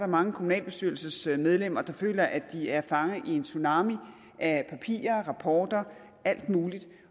mange kommunalbestyrelsesmedlemmer der føler at de er fanget i en tsunami af papirer rapporter alt muligt